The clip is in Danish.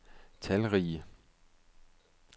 talrige